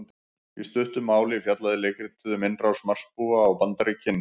Í stuttu máli fjallaði leikritið um innrás Marsbúa á Bandaríkin.